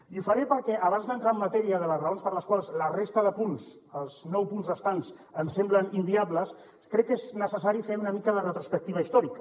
i ho faré perquè abans d’entrar en matèria de les raons per les quals la resta de punts els nou punts restants ens semblen inviables crec que és necessari fer una mica de retrospectiva històrica